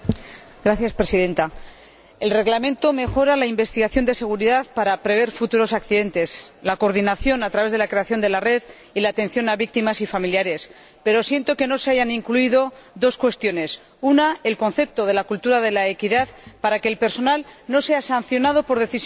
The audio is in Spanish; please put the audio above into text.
Señora Presidenta, el Reglamento mejora la investigación de seguridad para prever futuros accidentes, la coordinación a través de la creación de la Red y la atención a víctimas y familiares, pero siento que no se hayan incluido dos cuestiones en primer lugar, el concepto de la cultura de la equidad, para que el personal no sea sancionado por decisiones